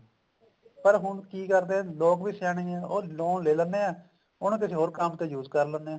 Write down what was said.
ਪਰ ਹੁਣ ਕੀ ਕਰਦੇ ਆ ਲੋਕ ਵੀ ਸਿਆਣੇ ਆ ਉਹ loan ਲੈ ਲੈਂਦੇ ਆ ਉਹਨੂੰ ਕਿਸੇ ਹੋਰ ਕੰਮ ਤੇ use ਕਰ ਲੈਂਦੇ ਆ